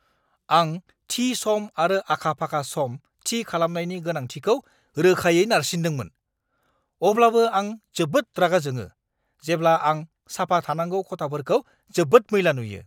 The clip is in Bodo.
आं थि-सम आरो आखा-फाखा सम थि खालामनायनि गोनांथिखौ रोखायै नारसिनदोंमोन, अब्लाबो आं जोबोद रागा जोङो, जेब्ला आं साफा थानांगौ खथाफोरखौ जोबोद मैला नुयो!